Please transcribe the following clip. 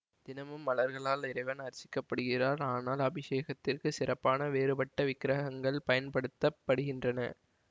தினமும் மலர்களால் இறைவன் அர்ச்சிக்கப் படுகிறார் ஆனால் அபிஷேகத்திற்கு சிறப்பான வேறுபட்ட விக்ரகங்கள் பயன் படுத்த படுகின்றன